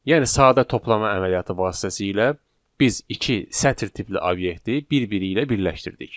Yəni sadə toplama əməliyyatı vasitəsilə biz iki sətr tipli obyekti bir-biri ilə birləşdirdik.